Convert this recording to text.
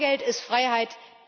Bargeld ist Freiheit.